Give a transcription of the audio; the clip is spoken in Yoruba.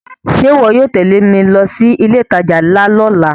Ṣe iwọ yóò tẹle mi lọ si ile itaja nla ni ọla?